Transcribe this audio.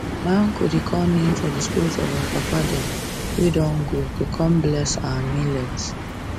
my uncle dey call names of the spirit of our papa dem wey don go to come bless our millet